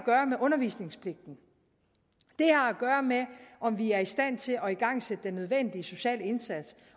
gøre med undervisningspligten det har at gøre med om vi er i stand til at igangsætte den nødvendige sociale indsats